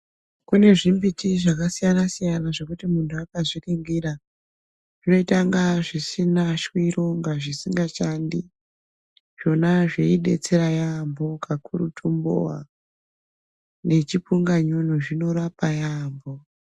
Kune zvimbiti zvakasiyana-siyana zvokuti muntu akazviningira zvinoyita ngazvisina shwiro ngazvisingashandi, zvona zveyidetsera yambo kakurutu mbowa nechipunganyunyu zvinorapa yambo.